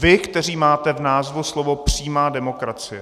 Vy, kteří máte v názvu slova přímá demokracie.